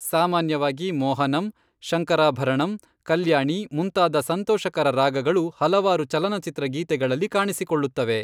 ಸಾಮಾನ್ಯವಾಗಿ ಮೋಹನಂ, ಶಂಕರಾಭರಣಂ, ಕಲ್ಯಾಣಿ ಮುಂತಾದ ಸಂತೋಷಕರ ರಾಗಗಳು ಹಲವಾರು ಚಲನಚಿತ್ರ ಗೀತೆಗಳಲ್ಲಿ ಕಾಣಿಸಿಕೊಳ್ಳುತ್ತವೆ.